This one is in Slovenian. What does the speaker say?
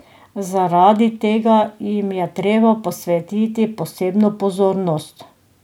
Zaradi tega jim je treba posvetiti posebno pozornost.